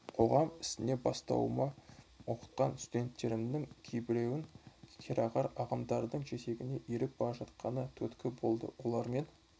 қоғам ісіне араласа бастауыма оқытқан студенттерімнің кейбірінің керағар ағымдардың жетегіне еріп бара жатқаны түрткі болды олармен